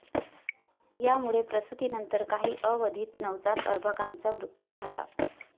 यामुळे प्रसूतीनंतर काही अवधीत नवजात अर्भकाचा मृत्यू झाला.